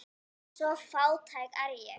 Svo fátæk er ég.